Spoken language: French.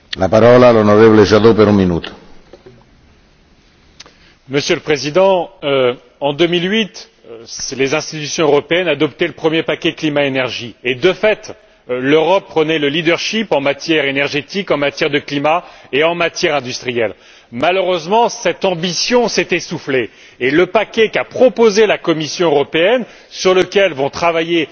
Monsieur le Président, en 2008, les institutions européennes adoptaient le premier paquet climat énergie et, de fait, l'Europe prenait un rôle dirigeant en matière énergétique, en matière de climat et en matière industrielle. Malheureusement, cette ambition s'est essoufflée et le paquet proposé par la Commission européenne, sur lequel vont travailler nos dirigeants européens, réduit considérablement cette ambition.